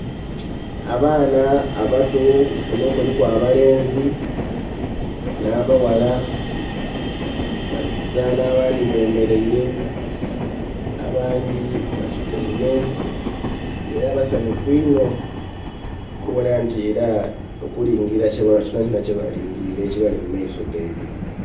Abaana abato kunho kuliku abalenzi nha baghala bali kuzanha abandhi bemereire abandhi basutaime era basanhufu inho okubonha nti era okulingirila kyonha kyonha kyebalingirire ekibali mumaiso ghaibwe.